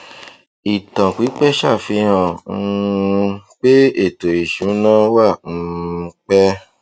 ìtàn pípẹ ṣàfihàn um pé ètò ìsúná wà um pẹ